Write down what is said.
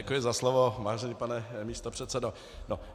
Děkuji za slovo, vážený pane místopředsedo.